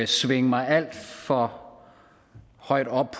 svinge mig alt for højt op